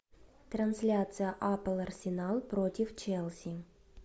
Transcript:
трансляция апл арсенал против челси